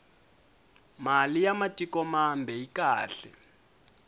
mali ya matik mambe yi kahle